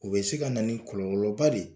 U bɛ se ka na ni kɔlɔlɔ ba de.